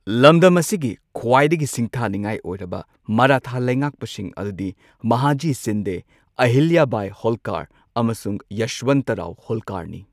ꯂꯝꯗꯝ ꯑꯁꯤꯒꯤ ꯈ꯭ꯋꯥꯏꯗꯒꯤ ꯁꯤꯡꯊꯥꯅꯤꯡꯉꯥꯏ ꯑꯣꯏꯔꯕ ꯃꯥꯔꯥꯊꯥ ꯂꯩꯉꯥꯛꯄꯁꯤꯡ ꯑꯗꯨꯗꯤ ꯃꯍꯥꯖꯤ ꯁꯤꯟꯗꯦ, ꯑꯍꯤꯜꯌꯥꯕꯥꯏ ꯍꯣꯜꯀꯔ ꯑꯃꯁꯨꯡ ꯌꯁ꯭ꯋꯟꯇꯔꯥꯎ ꯍꯣꯜꯀꯔꯅꯤ꯫